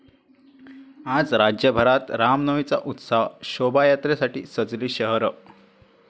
आज राज्यभरात रामनवमीचा उत्साह, शोभायात्रेसाठी सजली शहरं